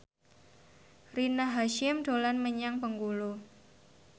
Rina Hasyim dolan menyang Bengkulu